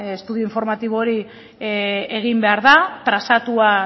estudio informatibo hori egin behar da trazatua